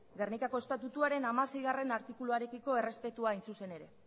gernikako estatutuaren hamaseigarrena artikuluarekiko errespetua hain zuzen ere